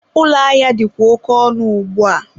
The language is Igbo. ụlọ ahịa dịkwa oke ọnụ ugbua.